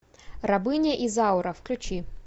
рабыня изаура включи